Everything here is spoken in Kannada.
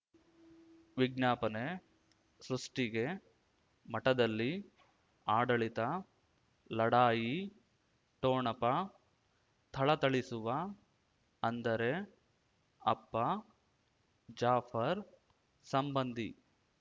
ವಿಜ್ಞಾಪನೆ ಸೃಷ್ಟಿಗೆ ಮಠದಲ್ಲಿ ಆಡಳಿತ ಲಢಾಯಿ ಠೋಣಪ ಥಳಥಳಿಸುವ ಅಂದರೆ ಅಪ್ಪ ಜಾಫರ್ ಸಂಬಂಧಿ